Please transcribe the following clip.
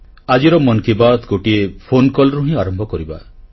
ଆଜିର ମନ୍ କି ବାତ୍ ଗୋଟିଏ ଫୋନକଲ୍ ରୁ ହିଁ ଆରମ୍ଭ କରିବା